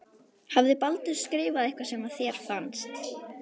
Hafði Baldur skrifað eitthvað sem þér fannst.